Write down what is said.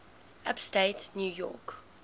upstate new york